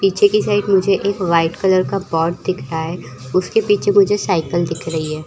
पीछे के साइड मुझे एक वाइट कलर बॉट दिख रहा है उसके पीछे मुझे साईकल दिख रही है।